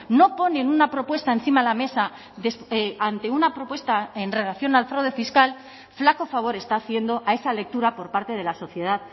no ponen una propuesta encima de la mesa ante una propuesta en relación al fraude fiscal flaco favor está haciendo a esa lectura por parte de la sociedad